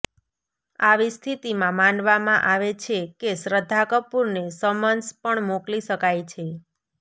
આવી સ્થિતિમાં માનવામાં આવે છે કે શ્રદ્ધા કપૂર ને સમન્સ પણ મોકલી શકાય છે